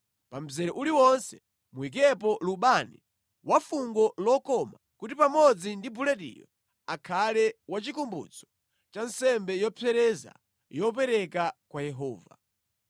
Pa mzere uliwonse muyikepo lubani wafungo lokoma kuti pamodzi ndi bulediyo akhale wachikumbutso cha nsembe yopsereza yopereka kwa Yehova.